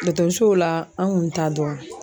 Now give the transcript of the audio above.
Dɔgɔtɔrɔsow la an kun t'a dɔn